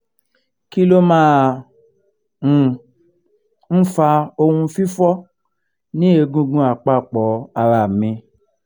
kí ló máa um ń fa ohun fifo ni egungun apapo ara mi?